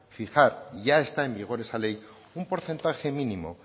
fijar y ya está en vigor esa ley un porcentaje mínimo